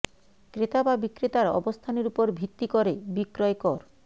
ক্রেতা বা বিক্রেতার অবস্থানের উপর ভিত্তি করে বিক্রয় কর